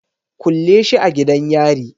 Kulle shi a gidan yari